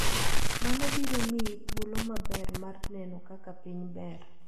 Mano biro miyi thuolo maber mar neno kaka piny ber.